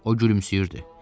O gülümsəyirdi.